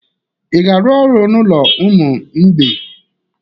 Ị ga-arụ ọrụ n'ụlọ ụmụ mgbei?